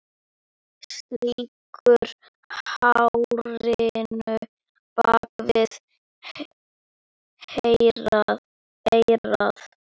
Strýkur hárinu bak við eyrað.